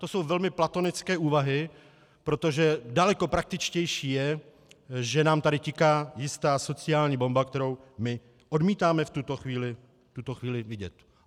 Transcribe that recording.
To jsou velmi platonické úvahy, protože daleko praktičtější je, že nám tady tiká jistá sociální bomba, kterou my odmítáme v tuto chvíli vidět.